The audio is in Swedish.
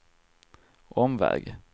omväg